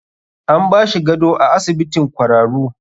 An bashi gado a asibitin kwararu.